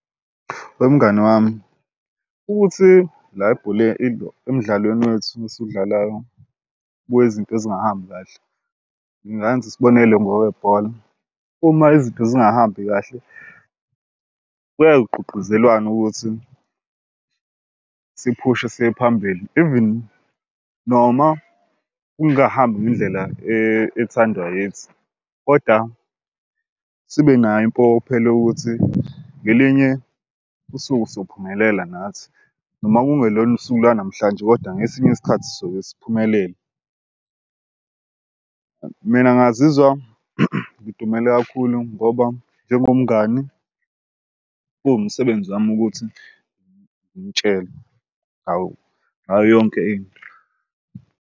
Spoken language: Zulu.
Wemngani wami, ukuthi la ebholeni emdlalweni wethu esudlalayo kunezinto ezingahambi kahle. Ngingenza isibonelo ngokwebhola uma izinto zingahambi kahle kuyaye kugqugquzelwane ukuthi siphushe siyephambili even noma kungahambi ngendlela ethandwa yithi koda sibenayo impokophelo yokuthi ngelinye usuke sophumelela nathi noma kungelona usuku lanamhlanje, kodwa ngesinye isikhathi soke siphumelele. Mina ngazizwa ngidumele kakhulu ngoba njengomngani kuwumsebenzi wami ukuthi ngimutshele hawu ngayo yonke into.